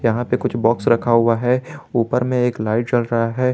यहां पे कुछ बॉक्स रखा हुआ है ऊपर में एक लाइट जल रहा है।